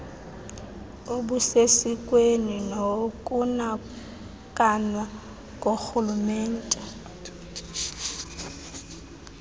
obusesikweni nokunakanwa korhulumente